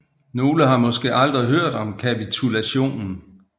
Nogle har måske aldrig hørt om kapitulationen